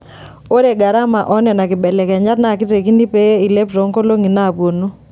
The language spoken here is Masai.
Ore garama oo nena kibelekenyat naa keitekini pee eilep toonkolongi naapuonu.